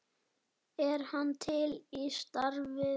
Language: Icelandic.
Er hann til í starfið?